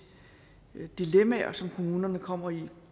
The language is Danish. dilemmaer på som kommunerne kommer i der